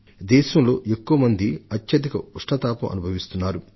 దాదాపు యావత్తు దేశం తీవ్రమైన ఎండల ప్రభావంలో చిక్కుకుపోయింది